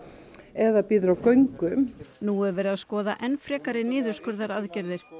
eða bíður á göngum nú er verið að skoða enn frekari niðurskurðaraðgerðir